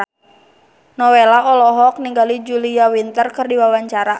Nowela olohok ningali Julia Winter keur diwawancara